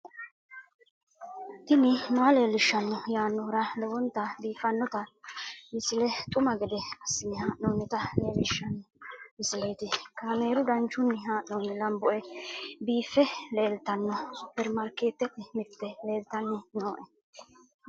tini maa leelishshanno yaannohura lowonta biiffanota misile xuma gede assine haa'noonnita leellishshanno misileeti kaameru danchunni haa'noonni lamboe biiffe leeeltanno superimarikeetete mirite leeltanni nooe